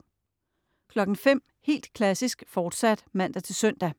05.00 Helt Klassisk, fortsat (man-søn)